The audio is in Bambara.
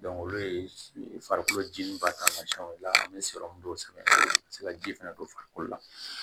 olu ye farikolo ji ba taamasiyɛnw ye an bɛ sɔrɔmu dɔw sɛgɛn ka se ka ji fɛnɛ don farikolo la